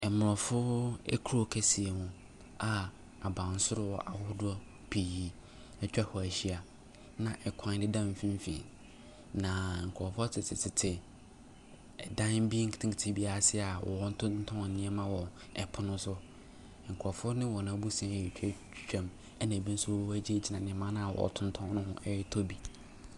Aborɔfo akuro kɛseɛ mu a abansoro ahodoɔ pii atwa hɔ ahyia na kwan da mfimfini, na nkurɔfoɔ tetetete dan bi nketenkete bi ase a wɔretontɔn nneɛma wɔ pono so. Nkurɔfoɔ ne wɔn abusua retwa twam, ɛnna ebi nso wɔagyinagyina nneɛma a wɔtontɔn no ho retɔ bi.